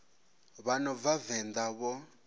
vha no bva venḓa vho